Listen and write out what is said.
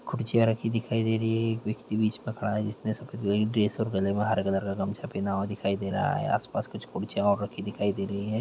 कुर्सियाँ रखी दिखाई दे रही हैं एक व्यक्ति बीच में खड़ा है जिसने सफ़ेद ड्रेस और गले में हरे कलर का गमछा पेहना हुआ दिखाई दे रहा है आस-पास कुछ कुर्सियाँ और रखी दिखाई दे रही हैं।